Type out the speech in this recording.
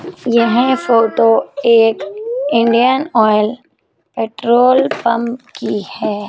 यह फोटो एक Indian Oil petrol pump की है।